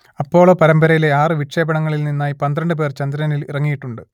Apollo പരമ്പരയിലെ ആറ് വിക്ഷേപണങ്ങളിൽ നിന്നായി പന്ത്രണ്ട് പേർ ചന്ദ്രനിൽ ഇറങ്ങിയിട്ടുണ്ട്